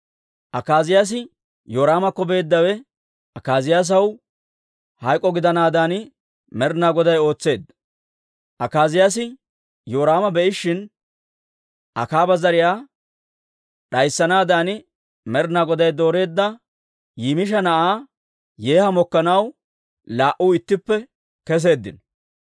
Akaaziyaasi Yoraamakko beeddawe Akaaziyaasaw hayk'o gidanaadan Med'inaa Goday ootseedda. Akaaziyaasi Yoraama be'ishin, Akaaba zariyaa d'ayssanaadan Med'inaa Goday dooreedda Nimisha na'aa Yeeha mokkanaw laa"u ittippe keseeddino.